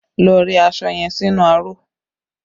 Lọ rẹ aṣọ yẹn sínú aró!